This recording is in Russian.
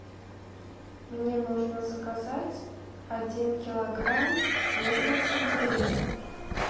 мне нужно заказать один килограмм свежего сельдерея